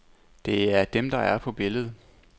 Det er dem, der er på billedet.